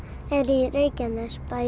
í Reykjanesbæ